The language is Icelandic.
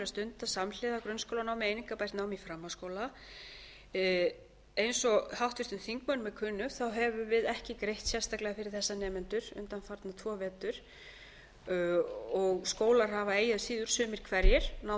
stunda samhliða grunnskólanámi einingabært nám í framhaldsskóla eins og háttvirtum þingmönnum er kunnugt höfum við ekki greitt sérstaklega fyrir þessa nemendur undanfarna tvo vetur og skólar hafa eigi að síður sumir hverjir náð